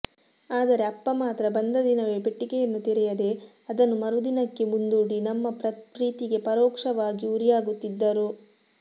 ಆದರೆ ಅಪ್ಪ ಮಾತ್ರ ಬಂದ ದಿನವೇ ಪೆಟ್ಟಿಗೆಯನ್ನು ತೆರೆಯದೇ ಅದನ್ನು ಮರುದಿನಕ್ಕೆ ಮುಂದೂಡಿ ನಮ್ಮ ಪ್ರೀತಿಗೆ ಪರೋಕ್ಷವಾಗಿ ಉರಿಯಾಗುತ್ತಿದ್ದರು